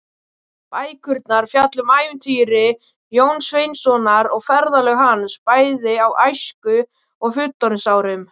Bækurnar fjalla um ævintýri Jóns Sveinssonar og ferðalög hans, bæði á æsku- og fullorðinsárum.